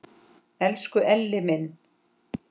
Elsku Elli minn!